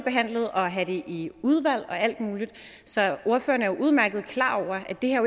og have det i udvalg og alt muligt så ordføreren er jo udmærket klar over at det her